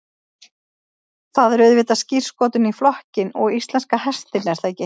Það er auðvitað skírskotun í flokkinn og íslenska hestinn er það ekki?